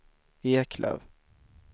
Eklöf